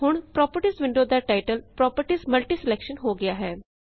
ਹੁਣ properties window ਦਾ title Properties multi selection ਹੋ ਗਿਆ ਹੈ